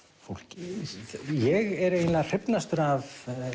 fólki ég er eiginlega hrifnastur af